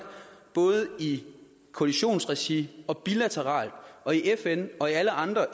både i koalitionsregi og bilateralt og i fn og i alle andre